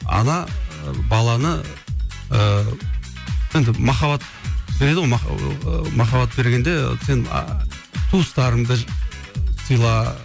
ана баланы ыыы енді махаббат береді ғой ы махаббат бергенде сен ыыы туыстарыңды сыйла